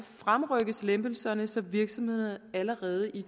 fremrykkes lempelserne så virksomhederne allerede i